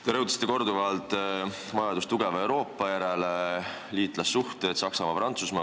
Te rõhutasite korduvalt tugeva Euroopa vajadust: liitlassuhted, Saksamaa-Prantsusmaa.